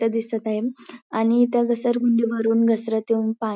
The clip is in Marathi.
इथे दिसत आहे आणि त्या घसरगुंडी वरून घसरत येऊन पा--